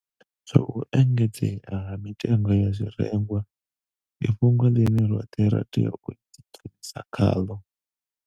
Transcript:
Zwa u engedzea ha mitengo ya zwirengwa ndi fhungo ḽine roṱhe ra tea u ḓidzhenisa khaḽo.